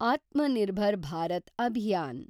Atmanirbhar Bharat Abhiyan